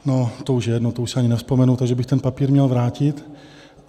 No to už je jedno, to už si ani nevzpomenu, takže bych ten papír měl vrátit.